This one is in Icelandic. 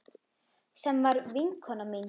Sem var vinkona mín.